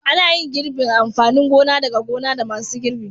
Ana gin girbin amfanin gona daga gona da masun girbi.